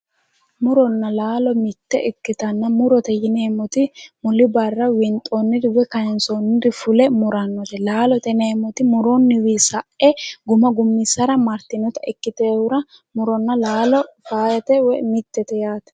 Muronna laalo mitte ikkitanna murote yineemoti muli barra winxoonniri woyi kaansoonniri fule murannote laalote yineemmoti muronniwiinni sa'e guma gummmissara martinota ikkiteyohura muronna laalo faayyate woyi mittete yaate